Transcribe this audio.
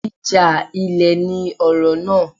Ìjà ilẹ̀ ni ọ̀rọ̀ náà.